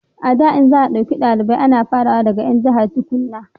a da in za a dauka dalibai ana fara daga 'yan jahar tukunna